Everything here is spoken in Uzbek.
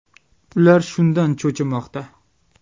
Ular shundan cho‘chimoqda.